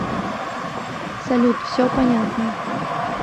салют все понятно